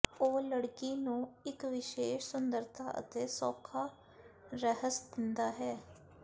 ਉਹ ਲੜਕੀ ਨੂੰ ਇੱਕ ਵਿਸ਼ੇਸ਼ ਸੁੰਦਰਤਾ ਅਤੇ ਸੌਖਾ ਰਹੱਸ ਦਿੰਦਾ ਹੈ